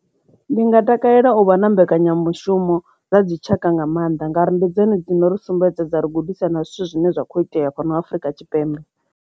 Ndi nga takalela uvha na mbekanyamushumo dza dzi tshaka nga maanḓa ngauri sumbedzani dzina ri sumbedza dza ri gudisa na zwithu zwine zwa kho itea fhano Afrika Tshipembe.